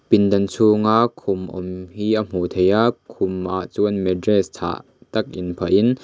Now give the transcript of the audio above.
pindan chhunga khum awm hi a hmuh theih a khumah chuan matress chhah tak in phah in--